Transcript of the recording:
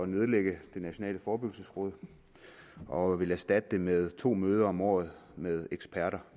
nedlægge det nationale forebyggelsesråd og vil erstatte det med to møder om året med eksperter